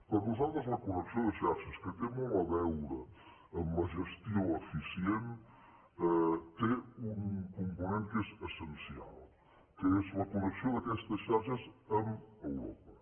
per nosaltres la connexió de xarxes que té molt a veure amb la gestió eficient té un component que és essencial que és la connexió d’aquestes xarxes amb europa